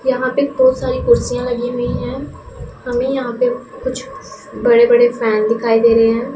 यहां पे बहोत सारी कुर्सियां लगी हुईं हैं हमें यहां पे कुछ बड़े बड़े फैन दिखाई दे रहे हैं।